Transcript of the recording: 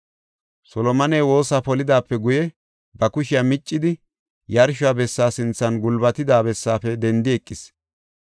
Solomoney woosa polidaape guye, ba kushiya miccidi yarsho bessa sinthan gulbatida bessaafe dendi eqis.